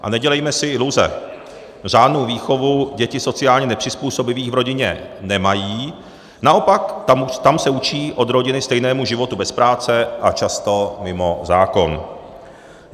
A nedělejme si iluze, řádnou výchovu děti sociálně nepřizpůsobivých v rodině nemají, naopak se tam učí od rodiny stejnému životu bez práce a často mimo zákon.